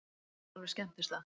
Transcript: Slagsmál við skemmtistað